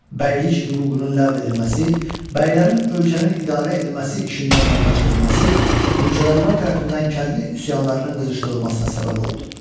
Bəylik hüququnun ləğv edilməsi, bəylərin ölkənin idarə edilməsi işindən uzaqlaşdırılması, mülkədarlar tərəfindən kəndli üsyanlarının qızışdırılmasına səbəb oldu.